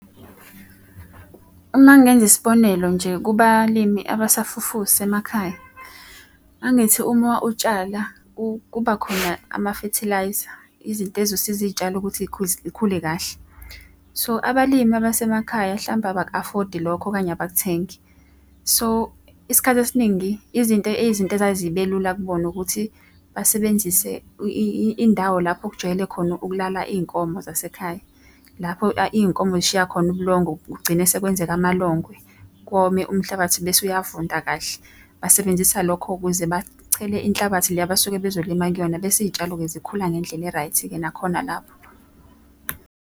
Uma ngenza isibonelo nje kubalimi abasafufusa emakhaya. Angithi uma utshala, kuba khona amafethilayza, izinto ey'zosiza iy'tshalo ukuthi iy'khule kahle. So, abalimi abasemakhaya hlampe abaku-afodi lokho okanye abakuthengi. So, isikhathi esiningi, izinto izinto ezazibe lula kubona ukuthi basebenzise indawo lapho ekujwayele khona ukulala iy'nkomo zasekhaya. Lapho iy'nkomo zishiya khona ubulongo kugcine sekwenzeka amalongwe, kome umhlabathi bese uyavunda kahle. Basebenzisa lokho ukuze bachele inhlabathi le abasuke bezolima kuyona, bese iy'tshalo-ke zikhula ngendlela e-right-ke nakhona lapho.